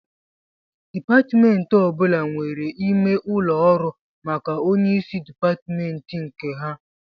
Dịpatmentị ọbụla nwere ime ụlọ ọrụ maka onyeisi dịpatmentị nke ha